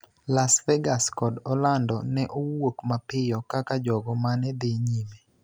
Las Vegas kod Orlando ne owuok mapiyo kaka jogo mane dhi nyime,